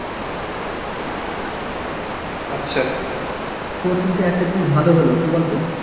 আচ্ছা তোর কিন্তু একটা জিনিস ভালো হলো কি বলতো